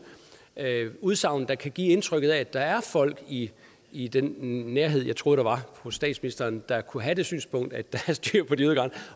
udsagn der kan give indtrykket af at der er folk i i den nærhed jeg troede der var hos statsministeren der kunne have det synspunkt at der er styr på de ydre